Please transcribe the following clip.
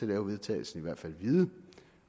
lave vedtagelsen i hvert fald vide